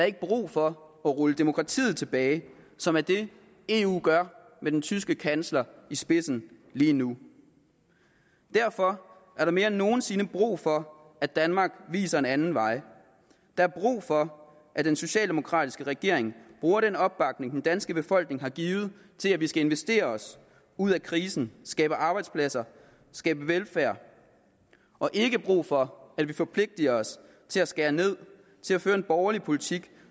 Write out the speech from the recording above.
ikke brug for at rulle demokratiet tilbage som er det eu gør med den tyske kansler i spidsen lige nu derfor er der mere end nogen sinde brug for at danmark viser en anden vej der er brug for at den socialdemokratiske regering bruger den opbakning den danske befolkning har givet til at vi skal investere os ud af krisen skabe arbejdspladser skabe velfærd og ikke brug for at vi forpligter os til at skære ned til at føre en borgerlig politik